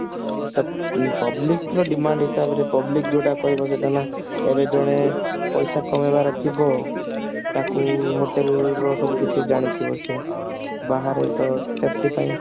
public ର demand ହିସାବରେ public ଯୋଉଟା କହିବ ସେଇଟା ନା ଏବେ ଜଣେ ପଇସା କମେଇବାର ଥିବ ତାକୁ hotel ର ସବୁକିଛି ଜାଣିଥିବ ସେ